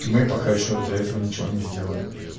мы пока ещё для этого ничего не сделали